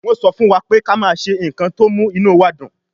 Wọ́n sọ fún wa pé ká máa ṣe àwọn nǹkan tó mú inú wa dùn